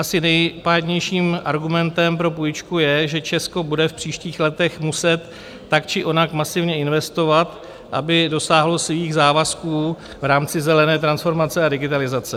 Asi nejpádnějším argumentem pro půjčku je, že Česko bude v příštích letech muset tak či onak masivně investovat, aby dosáhlo svých závazků v rámci zelené transformace a digitalizace.